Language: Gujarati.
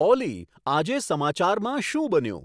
ઓલી આજે સમાચારમાં શું બન્યું